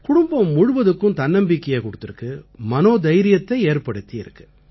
குடும்பம் முழுவதுக்கும் தன்னம்பிக்கையைக் கொடுத்திருக்கு மனோதைரியத்தை ஏற்படுத்தி இருக்கு